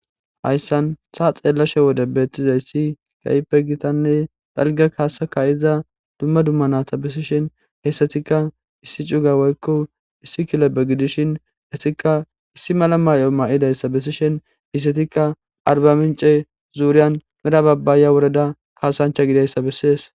hayssan saa xeellashe wode beettizay issi kayipe gitanne xalga kaasa kayiza dumma dumma naata besishen heessatikka issi cuga woykko issi kilebe gidishin hessikka issi mala may7o ma7idayssa bessishen hisetikka arba mince zuuryan mera babbaaya woreda kaasancha gidayssa bessies